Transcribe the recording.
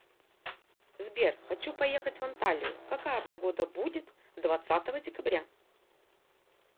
сбер хочу поехать в анталию какая погода будет двадцатого декабря